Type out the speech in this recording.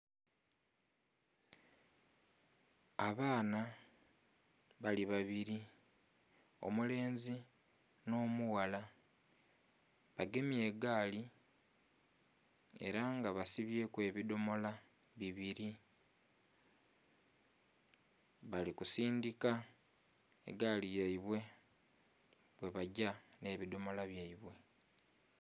Abaana bali babiri omukazi nho mughala bagemye egaali era nga basibyeku ebidhomola bibiri bali ku sindhika egaali yaibwe bwe bagya nhe ebidhomola byaibwe